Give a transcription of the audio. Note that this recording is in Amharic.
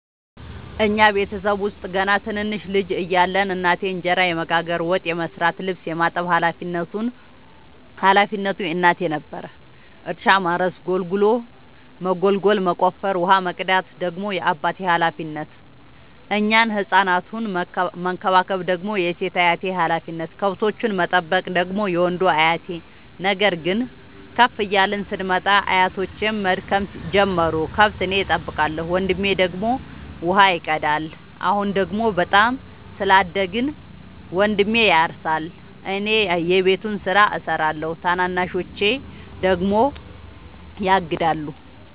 እኛ ቤተሰብ ውስጥ ገና ትንንሽ ልጅ እያለን እናቴ እንጀራ የመጋገር፤ ወጥ የመስራት ልብስ የማጠብ ሀላፊነቱ የእናቴ ነበረ። እርሻ ማረስ ጉልጎሎ መጎልጎል መቆፈር፣ ውሃ መቅዳት ደግሞ የአባቴ ሀላፊነት፤ እኛን ህፃናቱን መከባከብ ደግሞ የሴት አያቴ ሀላፊነት፣ ከብቶቹን መጠበቅ ደግሞ የወንዱ አያቴ። ነገር ግን ከፍ እያልን ስንመጣ አያቶቼም መድከም ጀመሩ ከብት እኔ ጠብቃለሁ። ወንድሜ ደግሞ ውሃ ይቀዳል። አሁን ደግሞ በጣም ስላደግን መንድሜ ያርሳ እኔ የቤቱን ስራ እሰራለሁ ታናናሾቼ ደግሞ ያግዳሉ።